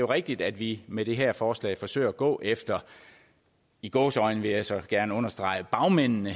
rigtigt at vi med det her forslag forsøger at gå efter i gåseøjne vil jeg så gerne understrege bagmændene